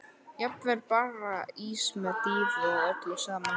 Jafnvel bara ís með dýfu og öllu saman.